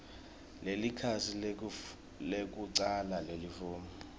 nelikhasi lekucala lelifomu